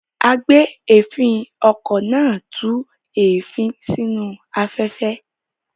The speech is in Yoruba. Agbèéfín-okọ̀ náà tú èéfín sínú afẹ́fẹ́.